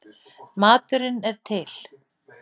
Maturinn er til.